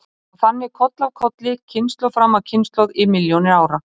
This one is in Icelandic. Og þannig koll af kolli, kynslóð fram af kynslóð í milljónir ára.